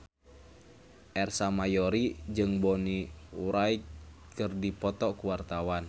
Ersa Mayori jeung Bonnie Wright keur dipoto ku wartawan